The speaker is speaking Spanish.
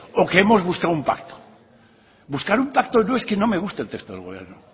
o que hemos buscado un pacto buscar un pacto no es que no me guste el texto del gobierno